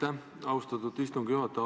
Aitäh, austatud istungi juhataja!